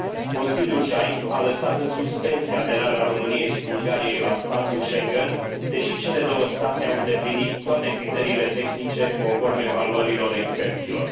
Consiliul JAI a lăsat în suspensie aderarea României și Bulgariei la spațiul Schengen, deși cele două state au îndeplinit toate criteriile tehnice, conform evaluărilor experților.